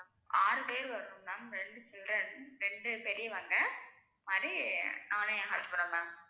ஆறு பேர் வருவாங்க ma'am ரெண்டு children ரெண்டு பெரியவங்க மாரி நானும் என் husband ம் ma'am